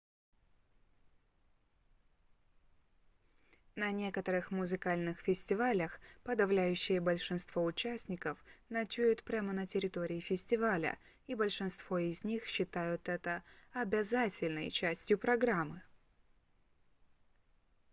на некоторых музыкальных фестивалях подавляющее большинство участников ночуют прямо на территории фестиваля и большинство из них считают это обязательной частью программы